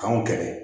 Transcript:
K'anw kɛlɛ